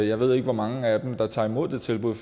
jeg ved ikke hvor mange af dem der tager imod det tilbud